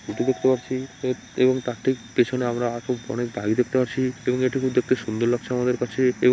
এটি দেখতে পাচ্ছি এবং তার ঠিক পিছনে আমরা অনেক গাড়ি দেখতে পাচ্ছি এবং এটি দেখতে খুব সুন্দর লাগছে আমাদের কাছে এবং--